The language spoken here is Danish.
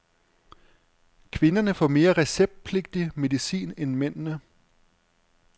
Kvinderne får mere receptpligtig medicin end mændene.